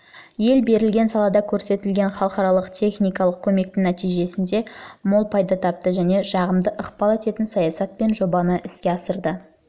ел берілген салада көрсетілген халықаралық техникалық көмектің нәтижесінде мол пайда тапты және жағымды ықпал ететін саясат пен жобаны іске асырды